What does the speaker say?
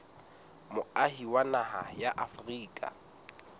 moahi wa naha ya afrika